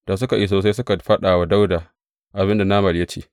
Da suka iso sai suka faɗa wa Dawuda abin da Nabal ya ce.